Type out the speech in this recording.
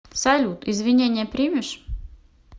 салют извинения примешь